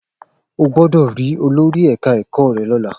O gbọ́dọ̀ rí olórí ẹ̀ka ẹ̀kọ́ rẹ lọ́la!